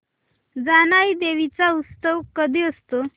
जानाई देवी चा उत्सव कधी असतो